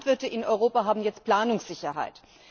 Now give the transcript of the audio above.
Die Landwirte in Europa haben jetzt Planungssicherheit.